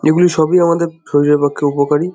এগুলি সবই আমাদের শরীরের পক্ষে উপকারী।